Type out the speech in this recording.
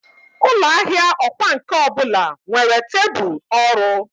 Ụlọ ahịa ọkwá nkà ọ bụla nwere tebụl ọrụ.